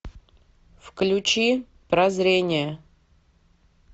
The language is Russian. включи прозрение